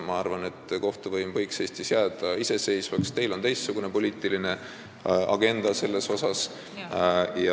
Ma arvan, et kohtuvõim võiks Eestis jääda iseseisvaks, aga teil on selle koha pealt teistsugune poliitiline agenda.